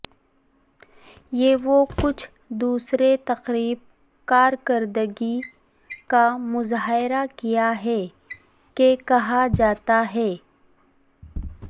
یہ وہ کچھ دوسرے تقریب کارکردگی کا مظاہرہ کیا ہے کہ کہا جاتا ہے